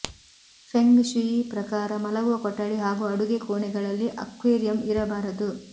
feng shui ಪ್ರಕಾರ ಮಲಗುವ ಕೊಠಡಿ ಹಾಗೂ ಅಡುಗೆ ಕೋಣೆಗಳಲ್ಲಿ ಅಕ್ವೇರಿಯಂ ಇರಬಾರದು